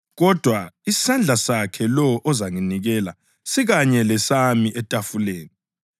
Kodwa isandla sakhe lowo ozanginikela sikanye lesami etafuleni.